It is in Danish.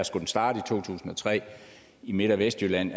skulle starte i to tusind og tre i midt vestjylland